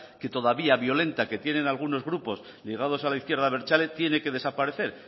todavía violenta que tienen algunos grupos ligados a la izquierda abertzale tiene que desaparecer